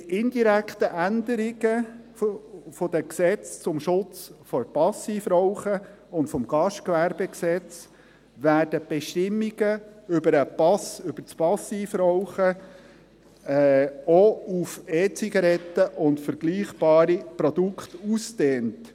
Mit indirekten Änderungen des Bundesgesetzes zum Schutz vor Passivrauchen und des Gastgewerbegesetzes (GGG) werden die Bestimmungen über den Passivrauchschutz auch auf EZigaretten und vergleichbare Produkte ausgedehnt.